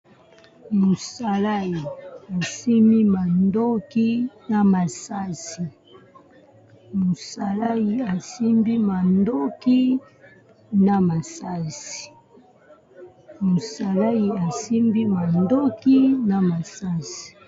Mosalali asimbi mandoki na masasi.